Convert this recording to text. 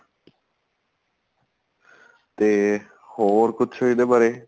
ਤੇ ਹੋਰ ਕੁੱਝ ਇਹਦੇ ਬਾਰੇ